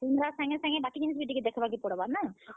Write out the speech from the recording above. Camera ସାଙ୍ଗେ ସାଙ୍ଗେ ବାକି ଜିନିଷ ବି ଟିକେ ଦେଖବା କେ ପଡବା ନାଁ।